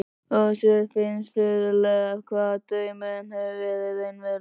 Össuri fannst furðulegt hvað draumurinn hafði verið raunverulegur.